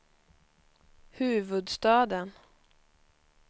huvudstaden